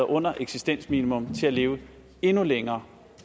under eksistensminimum til at leve endnu længere